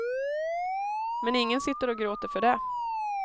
Men ingen sitter och gråter för det.